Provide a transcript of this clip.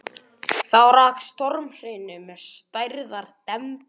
Þá rak á stormhrinu með stærðar dembu.